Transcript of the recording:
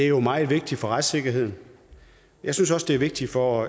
jo meget vigtigt for retssikkerheden jeg synes også det er vigtigt for